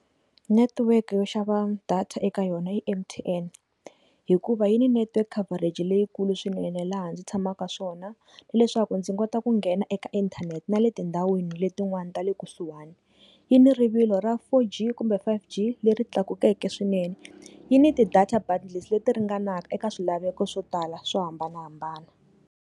Network yo xava data eka yona i M_T_N hikuva yi ni network coverage leyikulu swinene laha ndzi tshamaka swona na leswaku ndzi kota ku nghena eka inthanete na le tindhawini letin'wana tale kusuhani, yi ni rivilo ra four G kumbe five G leri tlakukeke swinene yini tidata bundles leti ringanaka eka swilaveko swo tala swo hambanahambana.